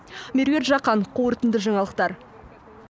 меруерт жақан қорытынды жаңалықтар